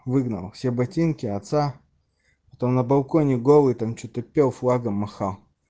выгнал все ботинки отца то на балконе голый там что-то пел флагом махал